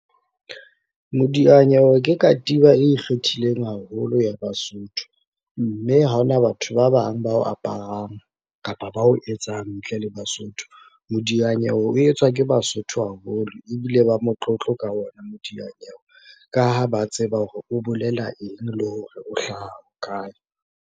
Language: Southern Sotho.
Modianyewe ke katiba e ikgethileng haholo ya Basotho, mme ha ona batho ba bang ba o aparang kapa ba o etsa ntle le Basotho. Modianyewe o etswa ke Basotho haholo ebile ba motlotlo ka ona modianyewe, ka ha ba tseba hore o bolela eng le hore o hlaha kae.